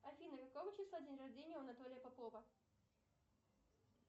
афина какого числа день рождения у анатолия попова